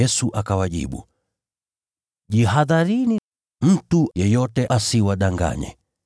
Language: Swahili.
Yesu akawajibu, “Jihadharini, mtu yeyote asiwadanganye.